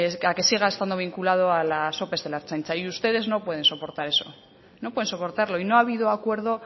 a que siga estando vinculado a las ope de la ertzaintza y ustedes no pueden soportar eso no pueden soportarlo y no ha habido acuerdo